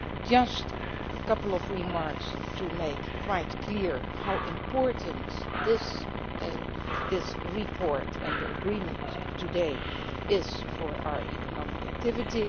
basis. Just a couple more remarks to make quite clear how important this report and agreement today is for our economic activity.